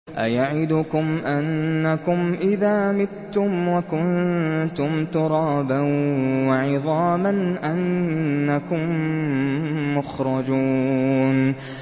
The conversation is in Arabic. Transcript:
أَيَعِدُكُمْ أَنَّكُمْ إِذَا مِتُّمْ وَكُنتُمْ تُرَابًا وَعِظَامًا أَنَّكُم مُّخْرَجُونَ